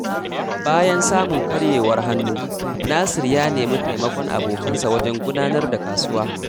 Bayan samun karyewar hannu, Nasir ya nemi taimakon abokansa wajen gudanar da kasuwa.